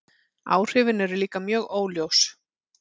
Áhrifin eru líka mjög óljós.